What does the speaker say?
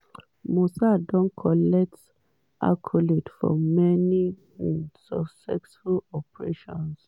mossad don collect accolade for many um successful operations.